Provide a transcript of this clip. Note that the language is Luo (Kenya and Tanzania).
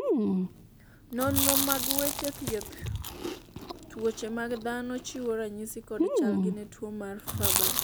nonro mag weche thieth tuoche mag dhano chiwo ranyisi kod chalgi ne tuo mar Farber